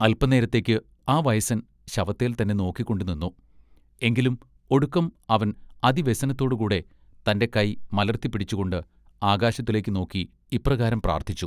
അല്പനേരത്തേക്ക് ആ വയസ്സൻ ശവത്തേൽ തന്നെ നോക്കിക്കൊണ്ടു നിന്നു എങ്കിലും ഒടുക്കം അവൻ അതിവ്യസനത്തോടുകൂടെ തന്റെ കൈ മലർത്തി പിടിച്ചുകൊണ്ട് ആകാശത്തിലേക്ക് നോക്കി ഇപ്രകാരം പ്രാർത്ഥിച്ചു.